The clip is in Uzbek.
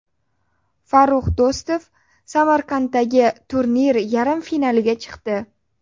Farrux Do‘stov Samarqanddagi turnir yarim finaliga chiqdi.